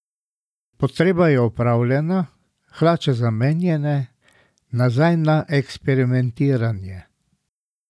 Potreba je opravljena, hlače zamenjane, nazaj na eksperimentiranje!